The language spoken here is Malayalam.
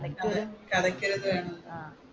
ഓരോരുത്തർ